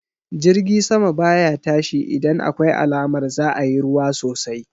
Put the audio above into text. Jirgi sama baya tashi idan akwai alamar za'a yi ruwa sosai